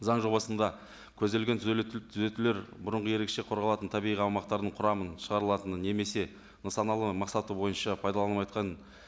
заң жобасында көзделген түзетулер бұрынғы ерекше қорғалатын табиғи аумақтардың құрамын шығарылатының немесе нысаналы мақсаты бойынша пайдаланыватқан